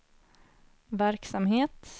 verksamhet